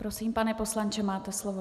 Prosím, pane poslanče, máte slovo.